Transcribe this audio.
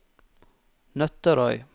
Nøtterøy